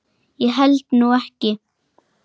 Ég held nú ekki!